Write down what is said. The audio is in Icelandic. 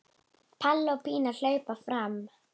Palli og Pína hlaupa fram.